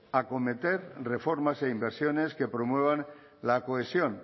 acometer reformas e inversiones que promuevan la cohesión